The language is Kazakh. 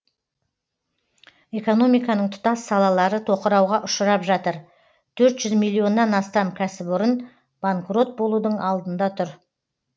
экономиканың тұтас салалары тоқырауға ұшырап жатыр төрт жүз миллионнан астам кәсіпорын банкрот болудың алдында тұр